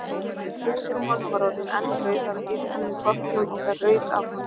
Húðin á honum var orðin eldrauð af hitanum í pottinum og það rauk af honum.